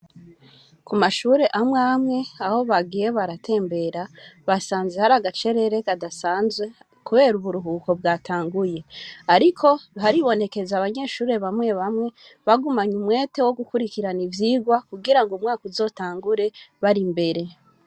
Ku mashure amwamwe aho bagie baratembera basanze hari agacerere kadasanzwe, kubera uburuhuko bwatanguye, ariko haribonekeze abanyeshure bamwe bamwe bagumanye umwete wo gukurikirana ivyigwa kugira ngo umwaka uzotangure bari imbere.